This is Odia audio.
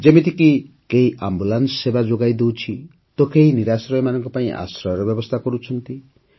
ଯେମିତିକି କେହି ଆମ୍ବୁଲାନ୍ସ ସେବା ଯୋଗାଇଦେଉଛି ତ କେହି ନିରାଶ୍ର୍ରୟମାନଙ୍କ ପାଇଁ ଆଶ୍ରୟର ବ୍ୟବସ୍ଥା କରୁଛି